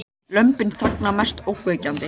Lömbin þagna mest ógnvekjandi